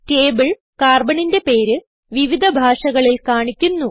table Carbonന്റെ പേര് വിവിധ ഭാഷകളിൽ കാണിക്കുന്നു